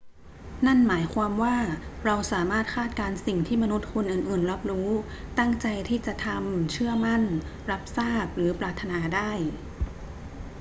นั่นหมายความว่าเราสามารถคาดการณ์สิ่งที่มนุษย์คนอื่น ๆ รับรู้ ตั้งใจที่จะทำ เชื่อมั่น รับทราบ หรือปรารถนาได้